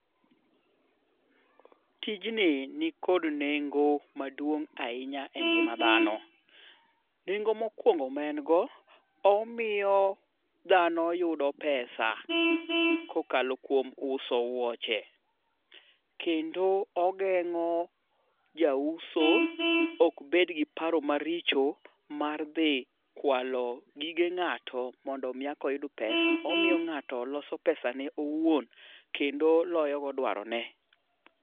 Tijni nikod nengo maduong' ahinya e ngima dhano. Nengo mokwongo ma en go omiyo dhano yudo pesa kokalo kuom uso wuoche, kendo ogeng'o jauso ok bed gi paro maricho mar dhi kwalo gige ng'ato mondo mi eka oyud pesa omiyo ng'ato loso pesane owuon kendo loyo go dwarone.